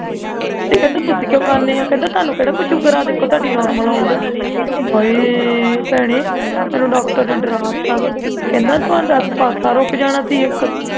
ਤੇ ਕਹਿੰਦਾ ਤੁਸੀਂ ਕਿਉਂ ਖਾਂਦੇ ਉਹ ਕਹਿਣ ਦਾ ਤੁਹਾਨੂੰ ਕਿਹੜੀ ਕੋਈ sugar ਆ ਤੁਹਾਡੀ normal ਲਾਉਣ ਡਈ ਹਾਈ ਭੈਣੇਂ doctor ਨੇ ਡਰਾਤਾ ਕਹਿੰਦਾ ਤੁਹਾਡਾ ਤੇ ਪਾਸਾ ਰੁਕ ਜਾਣਾ ਸੀ ਇਕ